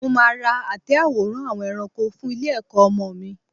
Mo máa ra àtẹ àwòrán àwọn ẹranko fún ilé-ẹ̀kọ́ ọmọ mi.